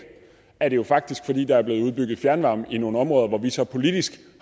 er det jo faktisk fordi der er blevet udbygget fjernvarme i nogle områder hvor vi så politisk